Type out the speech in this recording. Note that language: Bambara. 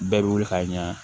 Bɛɛ bɛ wuli ka ɲa